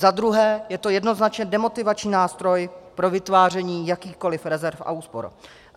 Za druhé je to jednoznačně demotivační nástroj pro vytváření jakýchkoliv rezerv a úspor.